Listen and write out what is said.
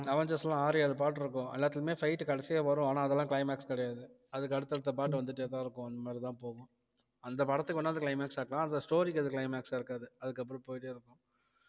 Avengers எல்லாம் ஆறு ஏழு part இருக்கும் எல்லாத்துலயுமே fight கடைசியா வரும் ஆனால் அதெல்லாம் climax கிடையாது அதுக்கு அடுத்தடுத்த part வந்துட்டேதான் இருக்கும் அந்த மாதிரிதான் போகும் அந்த படத்துக்கு வேணா அது climax ஆ இருக்கலாம் அந்த story க்கு அது climax அ இருக்காது அதுக்கப்புறம் போயிட்டே இருக்கும்